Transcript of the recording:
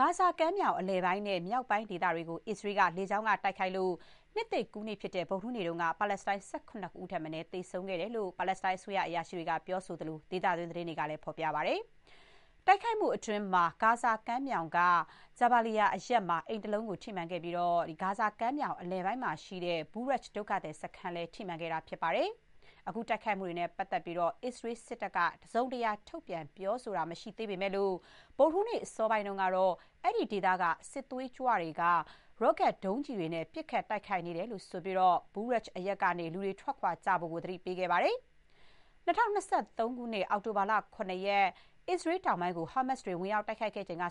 ဂါဇာကမ်းမြောင် အလယ်ပိုင်းနဲ့ မြောက်ပိုင်းဒေသတွေကို အစ္စရေးက လေကြောင်းက တိုက်ခိုက်လို့ နှစ်သစ်ကူးနေ့ဖြစ်တဲ့ ဗုဒ္ဓဟူးနေ့က ပါလက်စတိုင်း ၁၇ ဦးထက်မနည်း သေဆုံးခဲ့တဲ့အကြောင်း ပါလက်စတိုင်း အစိုးရ အရာရှိတွေနဲ့ ဒေသတွင်း သတင်းတွေက ဖော်ပြကြပါတယ်။ တိုက်ခိုက်မှုအတွင်း ဂါဇာမြောက်ပိုင်းက Jabaliya အရပ်မှာ အိမ်တလုံးကို ထိမှန်ခဲ့ပြီး ဂါဇာကမ်းမြောင် အလယ်ပိုင်းမှာရှိတဲ့ Bureij ဒုက္ခသည် စခန်းလည်း ထိမှန်ခဲ့တာ ဖြစ်ပါတယ်။ အခုတိုက်ခိုက်မှုတွေနဲ့ ပတ်သက်လို့ အစ္စရေး စစ်တပ်က တစုံတရာ ထုတ်ပြန် ပြောဆိုတာ မရှိသေးပေမဲ့လို့၊ ဗုဒ္ဓဟူးနေ့ အစောပိုင်းတုန်းကတော့ အဲ့ဒီဒေသကနေ စစ်သွေးကြွတွေက ရော့ကတ်ဒုံးကျည်တွေနဲ့ ပစ်ခတ်တိုက်ခိုက်နေတယ်လို့ ဆိုပြီး Bureij အရပ်ကနေ ထွက်ခွာဖို့ လူတွေကို သတိပေးခဲ့ပါတယ်။ ၂၀၂၃ ခုနှစ် အောက်တိုဘာလ ၇ ရက် အစ္စရေးတောင်ပိုင်းကို ဟာမတ်စ်တွေ ဝင်ရောက် တိုက်ခိုက်ခဲ့ချိန်က